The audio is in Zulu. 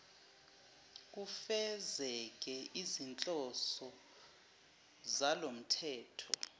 kufezeke izinhloso zalomthetho